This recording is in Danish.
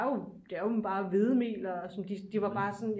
Det er jo det er jo bare hvedemel og som de de var bare sådan